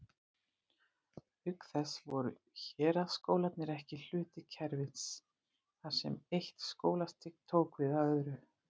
Auk þess voru héraðsskólarnir ekki hluti kerfis, þar sem eitt skólastig tók við af öðru.